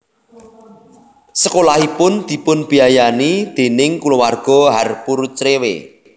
Sekolahipun dipunbéayani déning kulawarga Harpur Crewe